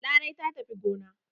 Larai ta tafi gona.